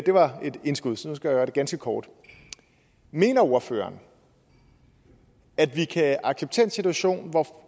det var et indskud så jeg gøre det ganske kort mener ordføreren at vi kan acceptere en situation hvor